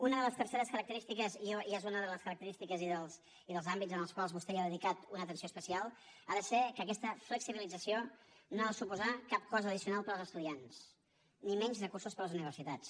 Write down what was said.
una de les terceres característiques i és una de les característiques i dels àmbits en els quals vostè hi ha dedicat una atenció especial ha de ser que aquesta flexibilització no ha de suposar cap cost addicional per als estudiants ni menys recursos per a les universitats